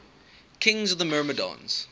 kings of the myrmidons